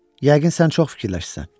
Yəqin sən çox fikirləşirsən.